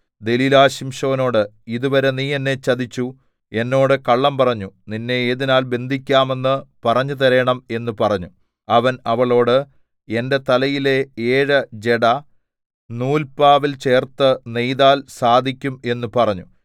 ദെലീലാ ശിംശോനോട് ഇതുവരെ നീ എന്നെ ചതിച്ചു എന്നോട് കള്ളം പറഞ്ഞു നിന്നെ ഏതിനാൽ ബന്ധിക്കാമെന്ന് പറഞ്ഞുതരേണം എന്ന് പറഞ്ഞു അവൻ അവളോട് എന്റെ തലയിലെ ഏഴ് ജട നൂല്പാവിൽ ചേർത്ത് നെയ്താൽ സാധിക്കും എന്ന് പറഞ്ഞു